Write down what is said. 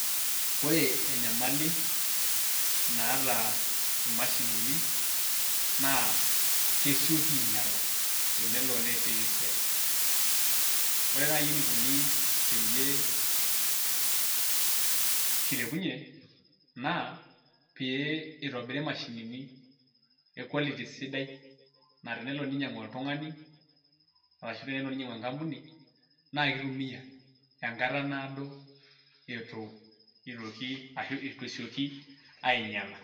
Ore enyamali naata imashinini naa kesioki ainyala tenelo neesieki esiai. Ore nai enikuni peyie kilepunye naa pee itobiri imashinini e quality sidai naatenelo ninyang'u oltung'ani arashu tenelo ninyang'u enkampuni naake itumia enkata naado itu itoki ashu itu esioki ainyala.